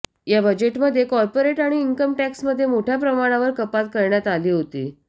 या बजेटमध्ये कार्पोरेट आणि इन्कम टॅक्समध्ये मोठ्या प्रमाणावर कपात करण्यात आली होती